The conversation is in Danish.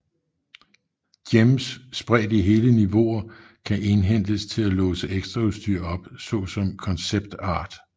Gems spredt i hele niveauer kan indhentes til at låse ekstraudstyr op såsom concept art